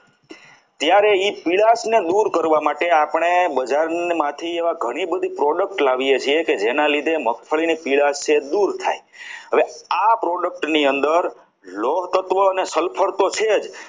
ત્યારે પીળાશને દૂર કરવા માટે આપણે બજારમાંથી એવા ઘણી બધી product લાવીએ છીએ કે જે ના લીધે મગફળીની પીળાશ છે દૂર થાય હવે આ product ની અંદર લોહતત્વ અને sulphur તો છે જ